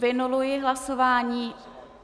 Vynuluji hlasování.